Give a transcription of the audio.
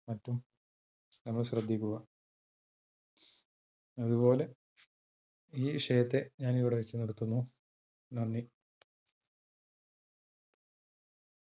നമ്മൾ ശ്രദ്ധിക്കുക, അതുപോലെ ഈ വിഷയത്തെ ഞാൻ ഇവിടെ വെച്ചു നിർത്തുന്നു. നന്ദി!